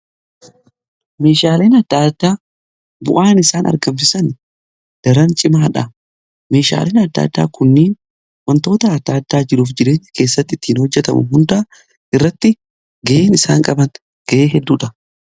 meeshaaleen adda addaa bu'aan isaan argamsisan daran cimaadha. meeshaaleen adda addaa kunniin wantoota adda addaa jiruuf jireenya keessatti ittiin hojjetamu hundaa irratti ga'een isaan qaba ga'ee hedduudha.